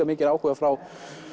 mikinn áhuga frá